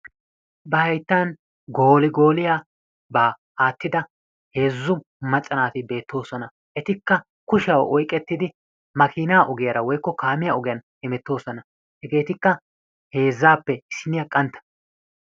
ba hayttaan gooligooliyaabaa aattida heezzu macca naati beettoosona. etikka kushshiyaa oyqqettidi maakinaa ogiyaara woykko kaamiyaa ogiyaan hemettoosona. hegeetikka heezzaappe issiniyaa qantta.